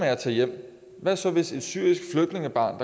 at tage hjem hvad så hvis et syrisk flygtningebarn